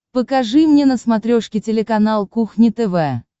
покажи мне на смотрешке телеканал кухня тв